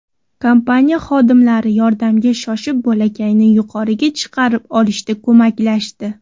Kompaniya xodimlari yordamga shoshib, bolakayni yuqoriga chiqarib olishda ko‘maklashdi.